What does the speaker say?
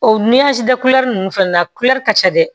O da kulɛri ninnu fana na kulɛri ka ca dɛ